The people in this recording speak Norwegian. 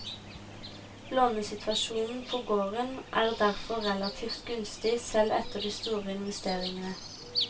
Lånesituasjonen på gården er derfor relativt gunstig selv etter de store investeringene.